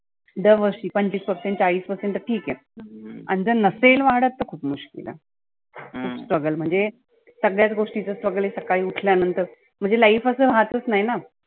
दर वर्षी पंचविस percent चाळीस percent तर ठीक आहे आणि जर नसेल वाढत तर खूप मुश्किल आहे. struggle म्हणजे सगळ्याच गोष्टीच struggle हे सकाळी उठल्या नंतर म्हणजे life आसं असच नाही ना.